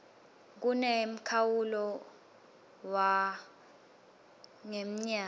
kunemkhawulo war ngemnyaka